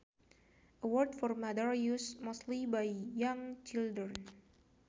A word for mother used mostly by young children